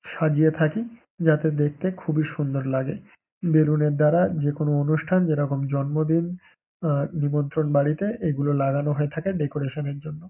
সাজিয়ে থাকি যাতে দেখতে খুবই সুন্দর লাগে বেলুন -এর দ্বারা যেকোনো অনুষ্ঠান যেরকম জন্মদিন আ নিমন্ত্রন বাড়িতে এইগুলো লাগানো হয়ে থাকে ডেকরেশন -এর জন্য।